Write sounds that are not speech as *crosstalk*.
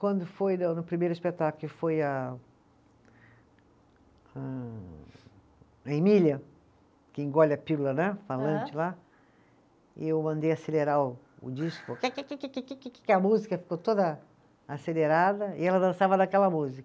Quando foi na no primeiro espetáculo, que foi a a, a Emília, que engole a pílula, né, falante lá, eu mandei acelerar o o disco, *unintelligible* que a música ficou toda acelerada, e ela dançava naquela música,